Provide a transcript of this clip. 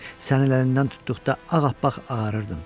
Sənin əlindən tutduqda ağappaq ağarırdım.